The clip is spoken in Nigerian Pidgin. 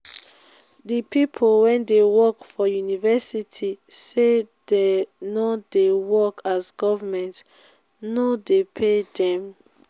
di pipu wey dey work for university sey dey no dey dey work as government no dey pay dem.